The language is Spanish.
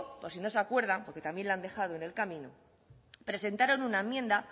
por si no se acuerda porque también lo han dejado en el camino presentaron una enmienda